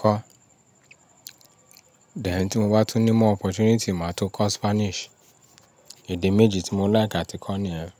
kọ́. Then tí mo bá tún ní more opportunity, màá tún kọ́ Spanish. Èdè méjì tí mo like àti kọ́ ni yẹn.